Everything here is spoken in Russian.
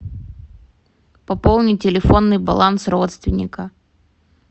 пополни телефонный баланс родственника